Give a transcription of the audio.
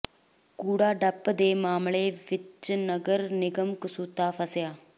ਕੂੜਾ ਡੰਪ ਦੇ ਮਾਮਲੇ ਵਿੱਚ ਨਗਰ ਨਿਗਮ ਕਸੂਤਾ ਫਸਿਆ